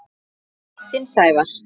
Þinn, Sævar.